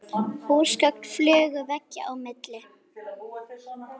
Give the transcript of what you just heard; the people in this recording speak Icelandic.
Húsgögn flugu veggja á milli.